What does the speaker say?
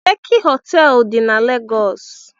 Leki họteelụ dị na Legọs.